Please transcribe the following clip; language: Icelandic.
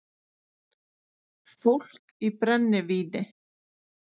Fólk í brennivíni